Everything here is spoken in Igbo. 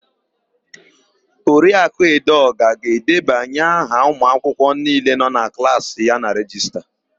Oriakụ Edeọga ga-edebanye aha ụmụakwụkwọ niile nọ na klaasị ya na rejista.